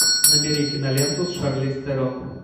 набери киноленту с шарлиз терон